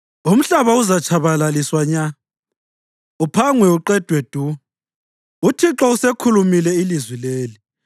Umhlaba uzatshabalaliswa nya uphangwe uqedwe du. UThixo uselikhulumile ilizwi leli.